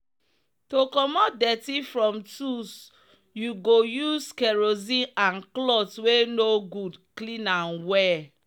to commot dirty from tools you go use kerosene and cloth wey no good clean am well